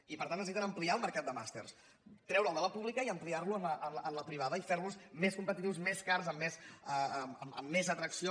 i per tant necessiten ampliar el mercat de màsters treure’l de la pública i ampliar lo en la privada i fer los més competitius més cars amb més atracció